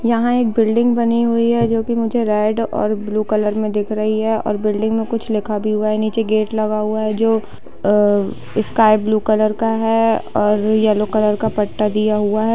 यहाँ एक बिल्डिंग बनी हुई है जो की मुझे रेड और ब्लू कलर में दिख रही है और बिल्डिंग मे कुछ लिखा भी हुआ है नीचे गेट लगा हुआ है जो स्काइ ब्लू कलर का है और येल्लो कलर का पट्टा दिया हुआ है।